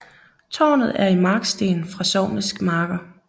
Tårnet er i marksten fra sognets marker